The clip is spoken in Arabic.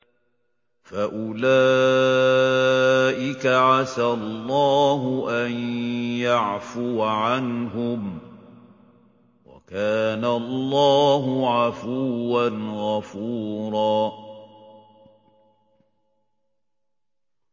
فَأُولَٰئِكَ عَسَى اللَّهُ أَن يَعْفُوَ عَنْهُمْ ۚ وَكَانَ اللَّهُ عَفُوًّا غَفُورًا